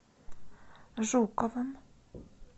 жуковым